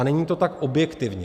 A není to tak objektivně.